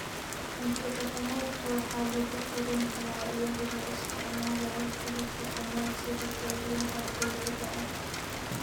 Cunto-dhaqameedka waxaa lagu karin karaa iyadoo la isticmaalayo qalab dhaqameed sida dheryaha dhoobada ah.